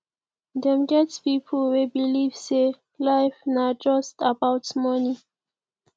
dem get pipo wey believe sey life na just about money